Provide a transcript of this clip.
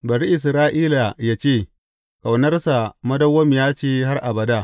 Bari Isra’ila yă ce, Ƙaunarsa madawwamiya ce har abada.